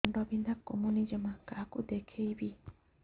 ମୁଣ୍ଡ ବିନ୍ଧା କମୁନି ଜମା କାହାକୁ ଦେଖେଇବି